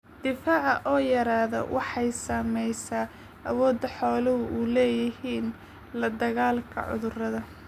Difaaca oo yaraada waxay saamaysaa awoodda xooluhu u leeyihiin la dagaalanka cudurrada.